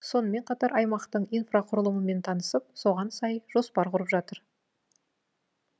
сонымен қатар аймақтың инфрақұрылымымен танысып соған сай жоспар құрып жатыр